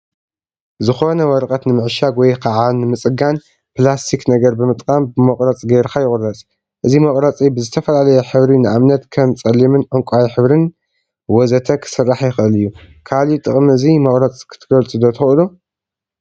ዝኮነ ወረቀት ንምዕሻግ ወይ ከዓ ንምፅጋን ፕላስቲክ ነገር ብምጥቃም ብመቁረፂ ገይርካ ይቁረፅ፡፡ እዚ መቁረፂ ብዝተፈላለየ ሕብሪ ንአብነት ከም ፀሊምን ዕንቋይ ሕብሪን ወዘተ ክስራሕ ይክእል እዩ፡፡ ካሊእ ጥቅሚ እዚ መቁረፂ ክትገልፁ ዶ ትክእሉ?